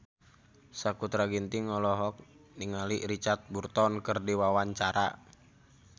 Sakutra Ginting olohok ningali Richard Burton keur diwawancara